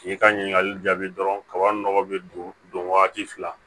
K'i ka ɲininkali jaabi dɔrɔn kaba nɔgɔ bɛ don wagati fila